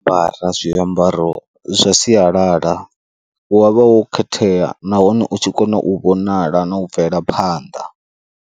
Ambara zwiambaro zwa sialala, wa vha wo khethea nahone u tshi kona u vhonala na u bvela phanḓa.